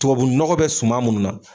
Tubabu nɔgɔ bɛ suma munnu na.